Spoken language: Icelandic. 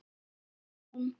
sálin tóm.